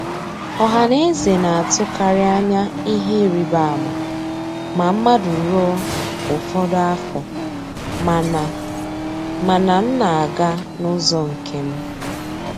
Ọhaneze na-atụkarị anya ihe ịrịbama ma mmadụ ruo ụfọdụ afọ, mana mana m na-aga n'ụzọ nke m.